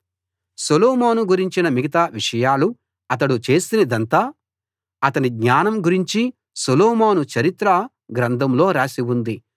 సొలొమోను గురించిన మిగతా విషయాలు అతడు చేసినదంతా అతని జ్ఞానం గురించి సొలొమోను చరిత్ర గ్రంథంలో రాసి ఉంది